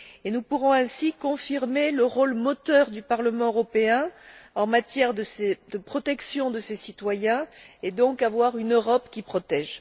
Nous pourrons ainsi confirmer le rôle moteur du Parlement européen en matière de protection de ses citoyens, et donc avoir une Europe qui protège.